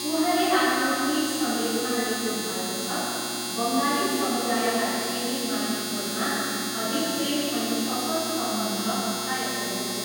उहाँले आफ्नो ट्विट सन्देशमा लेख्नुभएको छ, बङ्गाली समुदायका चेली माइतीहरूमा अधिक प्रेम अनि असल सम्बन्ध कायम रहोस्।